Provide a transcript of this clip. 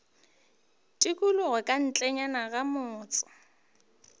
tikologo ka ntlenyana ga motse